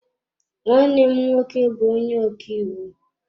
Nwanne m nwoke bu onye ọkaiwu.